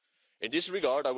In this regard.